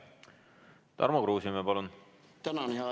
Tarmo Kruusimäe, palun!